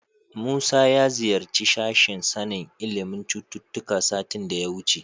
Musa ya ziyarci sashen sanin ilimin cututtuka satin da ya wuce.